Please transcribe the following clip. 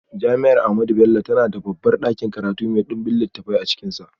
Jami’ar Ahmadu Bello tana da babban dakin karatu mai dimbin littafai a cikinsa.